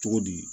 Cogo di